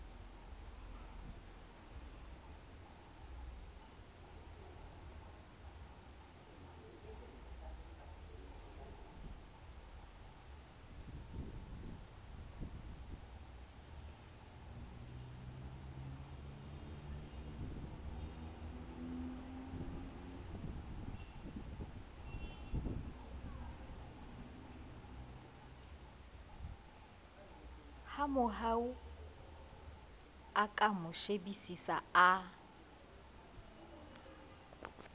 hamohau a mo shebisisa a